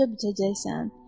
yonca biçəcəksən.